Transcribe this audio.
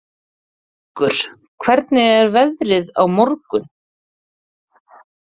Vöggur, hvernig er veðrið á morgun?